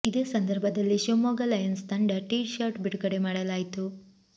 ಇದೇ ಸಂದರ್ಭದಲ್ಲಿ ಶಿವಮೊಗ್ಗ ಲಯನ್ಸ್ ತಂಡದ ಟೀ ಶರ್ಟ್ ಬಿಡುಗಡೆ ಮಾಡಲಾಯಿತು